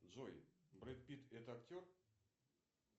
джой брэд питт это актер